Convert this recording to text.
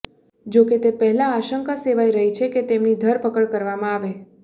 જો કે તે પહેલા આશંકા સેવાઇ રહી છે કે તેમની ધરપકડ કરવામાં આવે